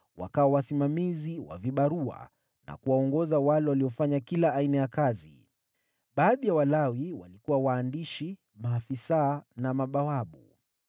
wakawa wasimamizi wa vibarua na kuwaongoza wale waliofanya kila aina ya kazi. Baadhi ya Walawi walikuwa waandishi, maafisa na mabawabu.